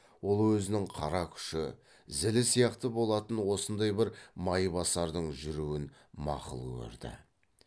ол өзінің қара күші зілі сияқты болатын осындай бір майбасардың жүруін мақұл көрді